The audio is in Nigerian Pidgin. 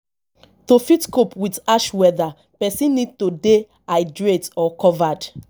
to fit cope with harsh weather person need to dey hydrated or covered